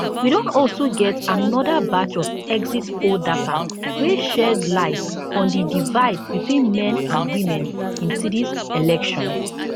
we don also get anoda batch of exit poll data wey shed light on di divide between men and women in tdis election